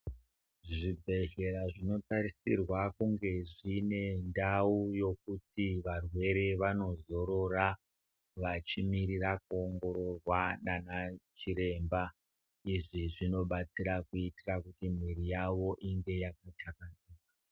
Zvibhedhlera zvinotarisirwa kunge zvinendau yokuti varwere vanozorora vachimirira kuongororwa naana chiremba zvi zvinobatsira kuitira kuti mwiri yavo inge yakathlakazika.